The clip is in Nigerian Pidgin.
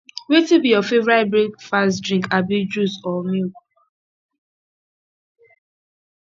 wetin be your favorite breakfast drink abi juice or milk